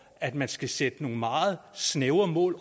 at man skal sætte nogle meget snævre mål